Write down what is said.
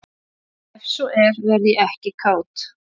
ef svo er verð ég ekki kát